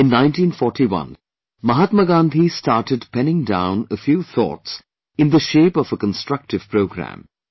In 1941, Mahatma Gandhi started penning down a few thoughts in the shape of a constructive Programme